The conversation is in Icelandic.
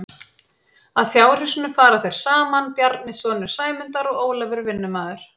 Að fjárhúsinu fara þeir saman Bjarni sonur Sæmundar og Ólafur vinnumaður.